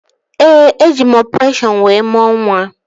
Ee, eji m ọpụreshọn wee mụọ nwa